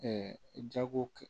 jago kɛ